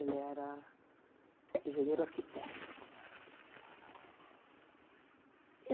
Ele era engenheiro arquiteto. E